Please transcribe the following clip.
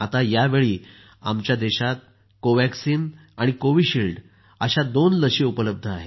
यावेळी आमच्या देशात कोवॅक्सिन आणि कोव्हिशिल्ड या दोन लस उपलब्ध आहेत